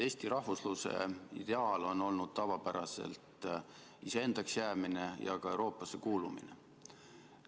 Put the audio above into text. Eesti rahvusluse ideaal on olnud tavapäraselt iseendaks jäämine ja ka Euroopasse kuulumine.